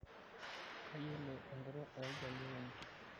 Kayiolo enkutuk ooljaluo penyo.